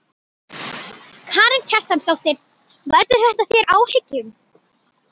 Karen Kjartansdóttir: Veldur þetta þér áhyggjum?